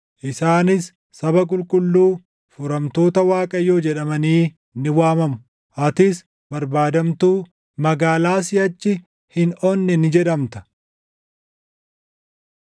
Isaanis Saba Qulqulluu, Furamtoota Waaqayyoo jedhamanii ni waamamu; atis barbaadamtuu, Magaalaa Siʼachi Hin Onne ni jedhamta.